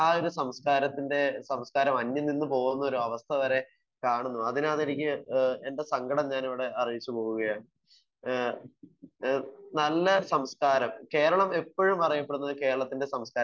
Speaker 1 ഏഹ് സംസ്കാരത്തിൻ്റെ ഒരു ഭാഗം തന്നെയായിരുന്നു. ഇന്ന് ആഹ് ഒരു സംസ്കാരത്തിൻ്റെ സംസ്ക്കാരം അന്യം നിന്ന് പോകുന്ന ഒരു അവസ്ഥ വരെ കാണുന്നു. അതിനാണ് എനിക്ക് ഏഹ് എൻ്റെ സങ്കടം ഞാൻ ഇവിടെ അറിയിച്ചു പോകുകയാണ്. ഏഹ് ഏഹ് നല്ല സംസ്ക്കാരം